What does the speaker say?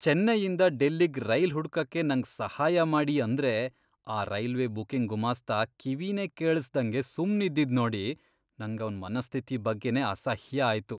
ಚೆನ್ನೈಯಿಂದ ಡೆಲ್ಲಿಗ್ ರೈಲ್ ಹುಡ್ಕಕ್ಕೆ ನಂಗ್ ಸಹಾಯ ಮಾಡಿ ಅಂದ್ರೆ ಆ ರೈಲ್ವೆ ಬುಕಿಂಗ್ ಗುಮಾಸ್ತ ಕಿವಿನೇ ಕೇಳಿಸ್ದಂಗೆ ಸುಮ್ನಿದ್ದಿದ್ ನೋಡಿ ನಂಗ್ ಅವ್ನ್ ಮನಸ್ಥಿತಿ ಬಗ್ಗೆನೇ ಅಸಹ್ಯ ಆಯ್ತು.